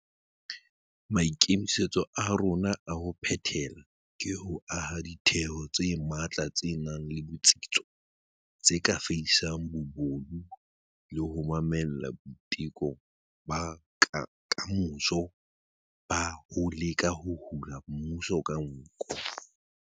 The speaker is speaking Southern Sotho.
Maikemisetso a rona a ho phethela ke ho aha ditheo tse matla tse nang le botsitso tse ka fedisang bobodu le ho mamella boiteko ba kamoso ba ho leka ho hula mmuso ka nko.